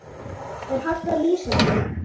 Er hægt að lýsa því?